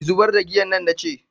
ki zubar da giyan nan na ce